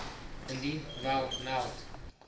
indien wel meld